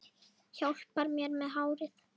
Hjálpar mér með hárið!